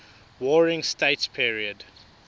warring states period